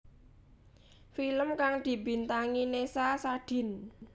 Film kang dibintangi Nessa Sadin